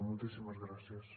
moltíssimes gràcies